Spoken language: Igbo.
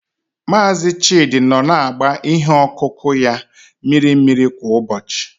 Mazị Chidi nọ na-agba ihe ọkụkụ ya mmiri mmiri kwa ụbọchị.